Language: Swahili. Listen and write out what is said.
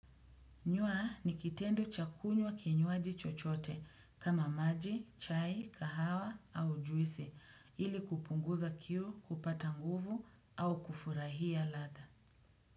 Nywa ni kitendo cha kunywa kinywaji chochote kama maji, chai, kahawa au juisi ili kupunguza kiu, kupata nguvu au kufurahia ladha.